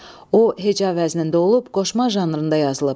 O heca vəznində olub, qoşma janrında yazılıb.